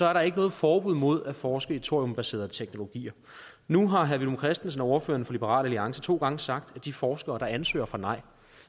er der ikke noget forbud imod at forske i thoriumbaserede teknologier nu har herre villum christensen ordføreren for liberal alliance to gange sagt at de forskere der ansøger får nej